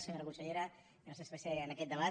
senyora consellera gràcies per ser en aquest debat